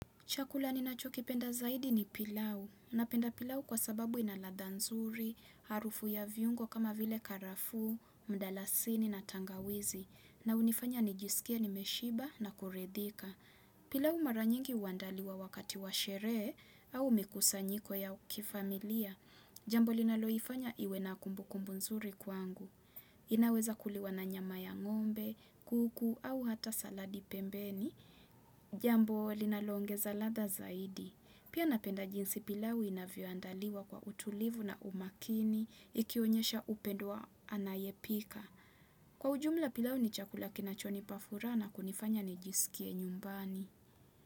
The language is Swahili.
Chakula ninachokipenda zaidi ni pilau. Napenda pilau kwa sababu ina ladha nzuri, harufu ya viungo kama vile karafu, mdalasini na tangawizi. Na unifanya nijisikie nimeshiba na kuridhika. Pilau maranyingi uandaliwa wakati washerehe au mikusanyiko ya ukifamilia. Jambo linaloifanya iwe na kumbu kumbu nzuri kwangu. Inaweza kuliwa na nyama ya ngombe, kuku au hata saladi pembeni. Jambo linaloongeza ladha zaidi Pia napenda jinsi pilau inavyo andaliwa kwa utulivu na umakini Ikionyesha upendo wa anayepika Kwa ujumla pilau ni chakula kinachonipa furaha na kunifanya nijisikie nyumbani.